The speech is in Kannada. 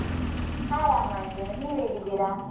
ಆರಾಮಿದ್ದೇನೆ, ನೀವ್ ಹೇಗಿದ್ದೀರಾ?